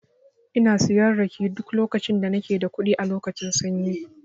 Ina siyan rake duk lokacin da nake da kuɗi a lokacin sanyi.